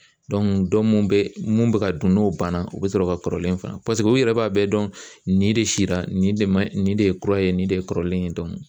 bɛ mun bɛ ka dun n'o banna o bɛ sɔrɔ ka kɔrɔlen fa u yɛrɛ b'a bɛɛ dɔn nin de sira nin de ye kura ye nin de kɔrɔlen